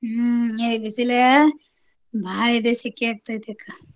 ಹ್ಮ್ ಇದ್ ಬಿಸಿಲ ಭಾಳ ಇದೆ ಸೆಕೆ ಆಗ್ತೇತಕ್ಕ.